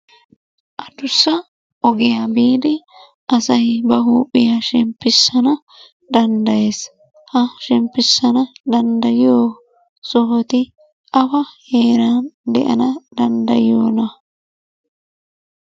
Adussa ogiya biidi asay ba huuphiya shemppissana danddayees. Ha shemppissana danddayiyo sohoti awa heeran de'ana danddayiyonaa?